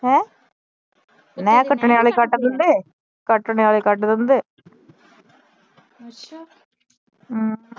ਹੈਂ ਨੇਹ ਕੱਟਣੇ ਵਾਲੇ ਕੱਟ ਦਿੰਦੇ ਕੱਟਣੇ ਵਾਲੇ ਕੱਟ ਦਿੰਦੇ ਹਮ